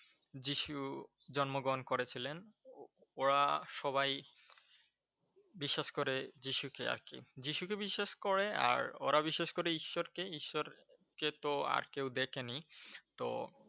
যীশু জন্মগ্রহন করেছিলেন। ওরা সবাই বিশ্বাস করে যীশু কে আর কি, যীশু কে বিশ্বাস করে আর ওরা বিশ্বাস করে ঈশ্বর কে। ঈশ্বর কে তো আর কেউ দেখেনি। তো